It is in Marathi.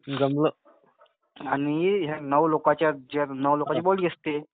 जमलं. आणि ह्या नऊ लोकांच्या नऊ लोकांची बॉडी असते.